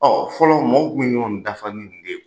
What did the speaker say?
fɔlɔ maaw kun bɛ ɲɔgɔn dafa ni nin de ye.